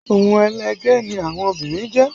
Ohun ẹlẹgẹ́ ni àwọn obìnrin jẹ́